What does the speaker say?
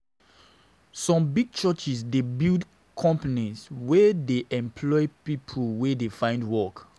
Some big churches dey build companies wey dey employ pipo wey dey find work.